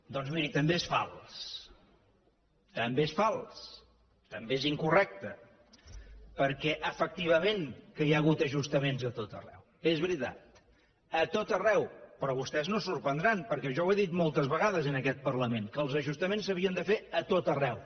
doncs miri també és fals també és fals també és incorrecte perquè efectivament que hi ha hagut ajustaments a tot arreu és veritat a tot arreu però vostès no es sorprendran perquè jo ho he dit moltes vegades en aquest parlament que els ajustaments s’havien de fer a tot arreu